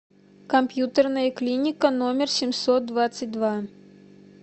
компьютерная клиника номер семьсот двадцать два